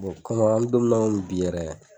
an bi don min na bi yɛrɛ.